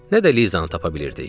Nə də Lizanı tapa bilirdik.